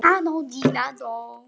Þangað til fyrir síðasta uppboð.